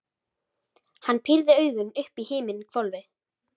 Hann pírði augun upp í himinhvolfið.